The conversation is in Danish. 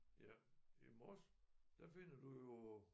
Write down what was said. Ja i Mors der finder du jo